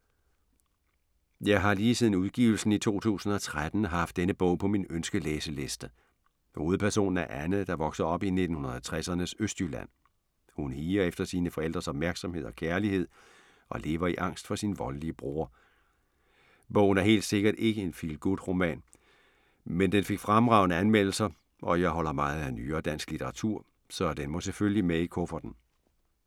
Jeg har lige siden udgivelsen i 2013 haft denne bog på min ønske-læseliste. Hovedpersonen er Anne, der vokser op i 1960'ernes Østjylland. Hun higer efter sine forældres opmærksomhed og kærlighed og lever i angst for sin voldelige bror. Bogen er helt sikkert ikke en feel good-roman, men den fik fremragende anmeldelser og jeg holder meget af nyere dansk litteratur, så den må selvfølgelig med i kufferten.